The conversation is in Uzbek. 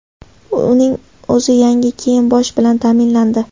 Uning o‘zi yangi kiyim-bosh bilan ta’minlandi.